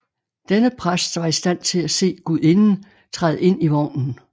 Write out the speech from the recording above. Denne præst var i stand til at se gudinden træde ind i vognen